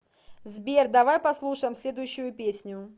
сбер давай послушаем следующую песню